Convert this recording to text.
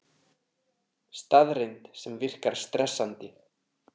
Staðreynd sem virkar stressandi.